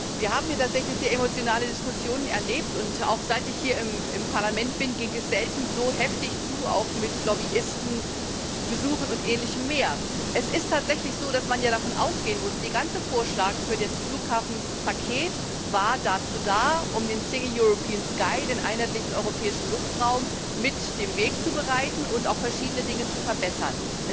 Wir haben hier tatsächlich sehr emotionale Diskussionen erlebt, und auch seit ich hier im Parlament bin, ging es selten so heftig zu, auch mit Lobbyistenbesuchen und Ähnlichem mehr. Es ist tatsächlich so, dass man davon ausgehen muss Der ganze Vorschlag für das Flughafenpaket war dazu da, um dem dem einheitlichen europäischen Luftraum, mit den Weg zu bereiten und verschiedene Dinge zu verbessern.